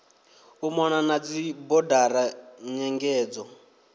u mona na dzibodara nyengedzo